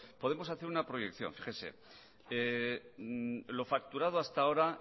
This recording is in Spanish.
podemos hacer una proyección fíjese lo facturado hasta ahora